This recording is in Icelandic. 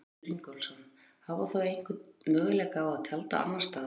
Sigurður Ingólfsson: Hafa þau einhvern möguleika á að tjalda annars staðar?